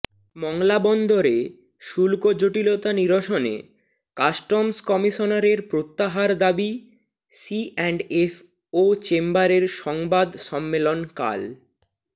মংলা বন্দরে শুল্ক জটিলতা নিরসনে কাস্টমস কমিশনারের প্রত্যাহার দাবি সিঅ্যান্ডএফ ও চেম্বারের সংবাদ সম্মেলন কাল